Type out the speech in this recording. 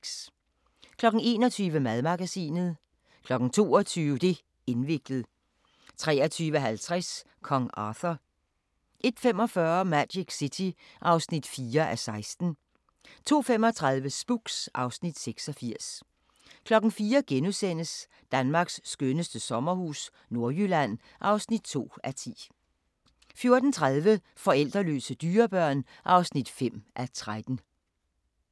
21:00: Madmagasinet 22:00: Det' indviklet 23:50: Kong Arthur 01:45: Magic City (4:16) 02:35: Spooks (Afs. 86) 04:00: Danmarks skønneste sommerhus – Nordjylland (2:10)* 04:30: Forældreløse dyrebørn (5:13)